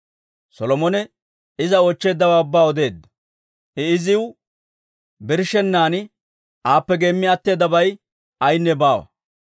Solomone iza oochcheeddawaa ubbaa odeedda; I iziw birshshennan aappe geemmi atteedabay ayaynne baawa.